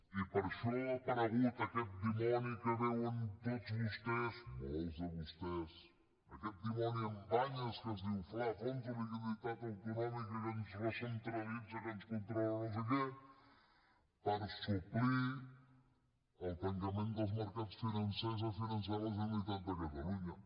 i per això ha aparegut aquest dimoni que veuen tots vostès molts de vostès aquest dimoni amb banyes que es diu fla fons de liquiditat autonòmic que ens recentralitza que ens controla no sé què per suplir el tancament dels mercats financers a finançar la generalitat de catalunya